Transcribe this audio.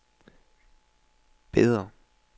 Beder